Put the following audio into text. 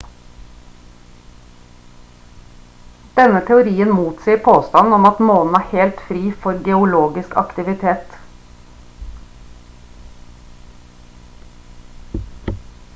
denne teorien motsier påstanden om at månen er helt fri for geologisk aktivitet